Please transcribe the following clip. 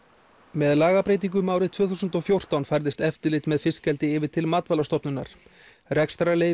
með lagabreytingum árið tvö þúsund og fjórtán færðist eftirlit með fiskeldi yfir til Matvælastofnunar rekstrarleyfi